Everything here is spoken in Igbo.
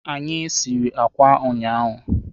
Anyị sịrị ákwà ụnyaahụ.